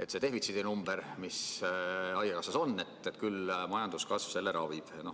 et see defitsiidi number, mis haigekassas on, küll majanduskasv selle ravib.